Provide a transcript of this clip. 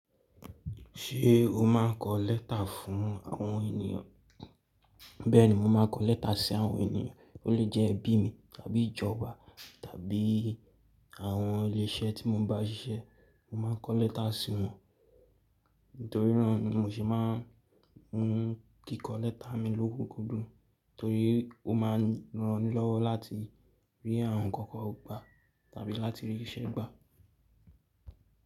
Ṣé o máa ń kọ lẹ́tà fún àwọn ènìyàn? Bẹ́ẹ̀ni, mo máa ń kọ lẹ́tà sí àwọn ènìyàn, ó lè jẹ́ ẹbí mi tàbí ìjọ wa tàbí àwọn ilé iṣẹ́ tí mo bá ń ṣiṣẹ́, mo máa ń kọ lẹ́tà sí wọn. Nítorí náà ni mo sì máa ń hun kíkọ lẹ́tà mi lókoogogoro torí ó máa ń ranilọ́wọ́ láti rí àwọn nǹkan kan gbà tàbí láti rí iṣẹ́ gbà.